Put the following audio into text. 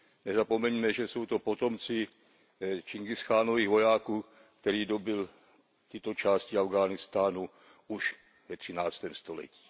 Nezapomeňme, že to jsou potomci Čingischánových vojáků, který dobyl tyto části Afghánistánu už ve třináctém století.